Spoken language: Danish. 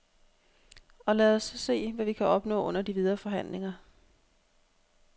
Og lad os så se, hvad vi kan opnå under de videre forhandlinger.